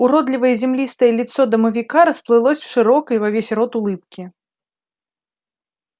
уродливое землистое лицо домовика расплылось в широкой во весь рот улыбке